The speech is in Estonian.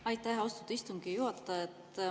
Aitäh, austatud istungi juhataja!